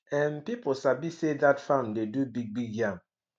um people sabi say dat farm dey do bigbig yam